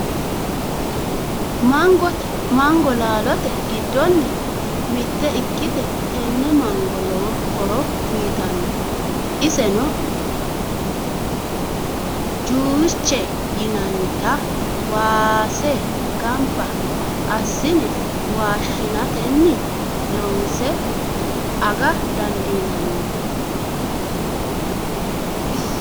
Mango laalote giddonni mitte ikkite tenne manga lowo horo uyitanno. Isennino juice yinannita waase gambba assine mashineteni loonse aga dandiinanni